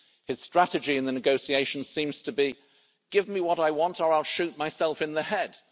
His strategy in the negotiations seems to be give me what I want or I'll shoot myself in the head'.